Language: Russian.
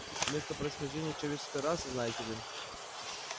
место происхождения человеческой расы знаете ли